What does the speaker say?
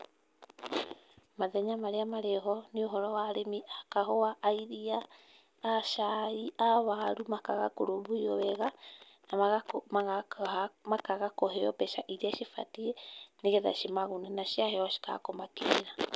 Mathenya marĩa marĩho nĩ ũhoro wa arĩmi a kahũa, a iria, a caĩ, a waru, makaga kũrũmbũiywo wega na makaga kũheo mbeca iria cibatiĩ nĩ getha cimagune na ciaheo cikaga kũmakinyĩra.